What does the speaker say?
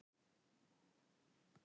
Halldór fékk fjögurra ára dóm.